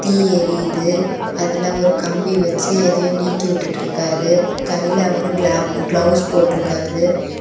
தீ எரியுது. அதுல ஒரு கம்பி வச்சு எதையோ நீக்கி உட்டுட்டிருக்காரு. கையில அவரு கிளா கிளவுஸ் போட்டுருக்காரு.